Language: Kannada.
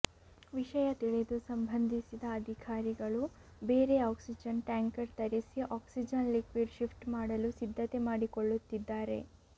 ವಿಷಯ ತಿಳಿದು ಸಂಬಂಧಿಸಿದ ಅಧಿಕಾರಿಗಳು ಬೇರೆ ಆಕ್ಸಿಜನ್ ಟ್ಯಾಂಕರ್ ತರಿಸಿ ಆಕ್ಸಿಜನ್ ಲಿಕ್ವಿಡ್ ಶಿಫ್ಟ್ ಮಾಡಲು ಸಿದ್ಧತೆ ಮಾಡಿಕೊಳ್ಳುತ್ತಿದ್ದಾರೆ